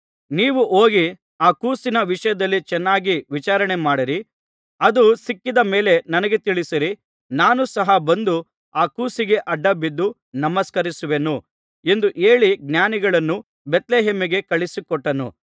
ನೀವು ಹೋಗಿ ಆ ಕೂಸಿನ ವಿಷಯದಲ್ಲಿ ಚೆನ್ನಾಗಿ ವಿಚಾರಣೆ ಮಾಡಿರಿ ಅದು ಸಿಕ್ಕಿದ ಮೇಲೆ ನನಗೆ ತಿಳಿಸಿರಿ ನಾನು ಸಹ ಬಂದು ಆ ಕೂಸಿಗೆ ಅಡ್ಡಬಿದ್ದು ನಮಸ್ಕರಿಸುವೆನು ಎಂದು ಹೇಳಿ ಜ್ಞಾನಿಗಳನ್ನು ಬೇತ್ಲೆಹೇಮಿಗೆ ಕಳುಹಿಸಿಕೊಟ್ಟನು